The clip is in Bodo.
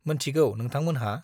मोनथिगौ नोंथांमोनहा?